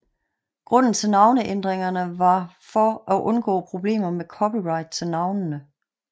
Grunden til navneændringerne var for at undgå problemer med copyright til navnene